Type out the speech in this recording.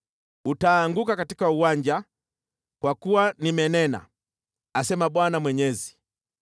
Utaanguka katika uwanja, kwa kuwa nimenena, asema Bwana Mwenyezi.